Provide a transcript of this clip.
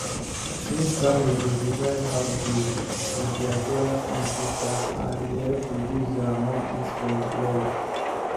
smith family dey divide house bills with their brothers and sisters and e help reduce their monthly spend well